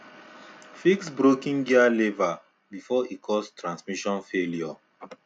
fix broken gear lever before e cause transmission failure